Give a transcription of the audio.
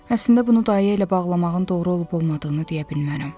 Əslində, bunu dayə ilə bağlamağın doğru olub-olmadığını deyə bilmərəm.